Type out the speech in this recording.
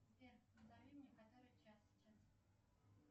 сбер назови мне который час сейчас